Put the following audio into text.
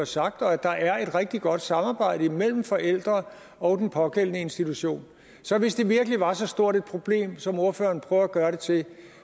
sagt og at der er et rigtig godt samarbejde mellem forældre og den pågældende institution så hvis det virkelig var så stort et problem som ordføreren prøver at gøre det til